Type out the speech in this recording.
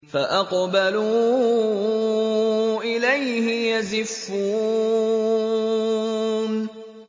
فَأَقْبَلُوا إِلَيْهِ يَزِفُّونَ